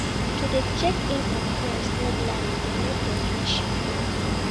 To de check in on friends regularly de make di friendship grow